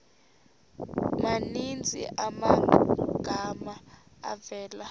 maninzi amagama avela